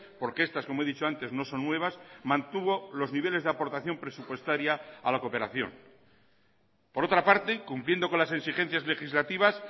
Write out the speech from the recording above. porque estas como he dicho antes no son nuevas mantuvo los niveles de aportación presupuestaria a la cooperación por otra parte cumpliendo con las exigencias legislativas